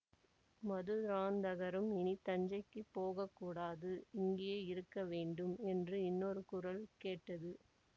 மதுராந்தகரும் இனி தஞ்சைக்கு போக கூடாது இங்கே இருக்கவேண்டும் என்று இன்னொரு குரல் கேட்டது